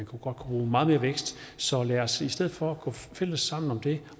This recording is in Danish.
kunne bruge meget mere vækst så lad os i stedet for gå sammen om det